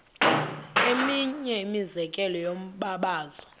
eminye imizekelo yombabazo